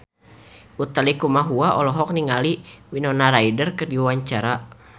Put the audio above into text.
Utha Likumahua olohok ningali Winona Ryder keur diwawancara